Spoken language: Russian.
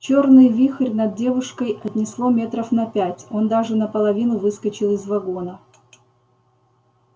чёрный вихрь над девушкой отнесло метров на пять он даже наполовину выскочил из вагона